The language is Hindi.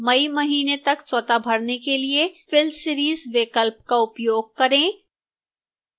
may महीने तक स्वतः भरने के लिए fill series विकल्प का उपयोग करें